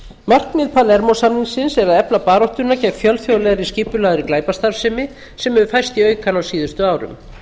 markmið palermó samningsins er efla baráttuna gegn fjölþjóðlegri skipulagðri glæpastarfsemi sem hefur færst í aukana á síðustu árum